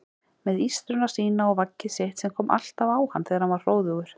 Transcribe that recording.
Með ístruna sína og vaggið sitt sem kom alltaf á hann þegar hann var hróðugur.